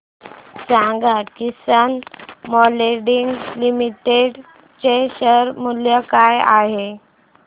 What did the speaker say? सांगा Kisan moulding limited चे share मूल्य काय आहे